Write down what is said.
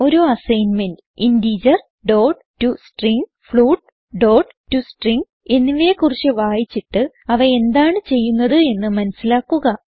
ഒരു അസ്സൈൻമെന്റ് integerടോസ്ട്രിംഗ് floatടോസ്ട്രിംഗ് എന്നിവയെ കുറിച്ച് വായിച്ചിട്ട് അവ എന്താണ് ചെയ്യുന്നത് എന്ന് മനസിലാക്കുക